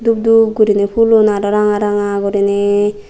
dub dub gurinei pulun araw ranga ranga gurinei.